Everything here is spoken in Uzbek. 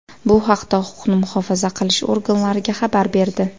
bu haqda huquqni muhofaza qilish organlariga xabar berdi.